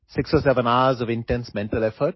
এই সকলোবোৰ দবাৰ বাবে অতি গুৰুত্বপূৰ্ণ